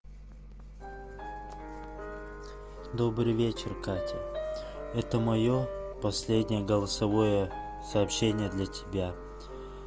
добрый вечер катя это моё последнее голосовое сообщение для тебя